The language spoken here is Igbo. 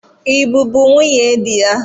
I bụbụ nwunye di ya?